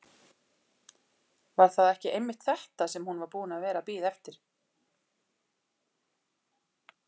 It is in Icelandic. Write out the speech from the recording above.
Var það ekki einmitt þetta sem hún var búin að vera að bíða eftir?